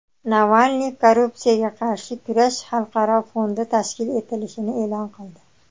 Navalniy korrupsiyaga qarshi kurash xalqaro fondi tashkil etilishini e’lon qildi.